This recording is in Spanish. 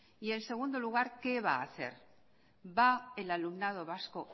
y en segundo lugar qué va a hacer va el alumnado vasco